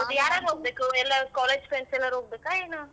ಮತ್ತೆ ಯಾರ್ ಯಾರ್ ಹೋಗ್ಬೇಕು ಎಲ್ಲಾರು college friends ಎಲ್ಲರೂ ಹೋಗ್ಬೇಕ ಏನು?